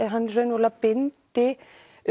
hann raunverulega bindi